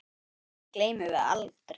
Því gleymum við aldrei.